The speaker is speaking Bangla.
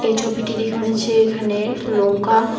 এই ছবিটি দেখে মনে হচ্ছে এখানে লঙ্কা--